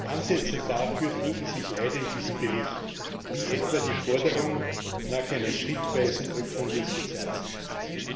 Ansätze dafür finden sich leider in diesem Bericht, wie etwa die Forderung nach einer schrittweisen Öffnung des Sozialsektors.